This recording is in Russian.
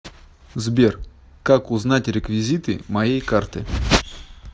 сбер как узнать реквизиты моей карты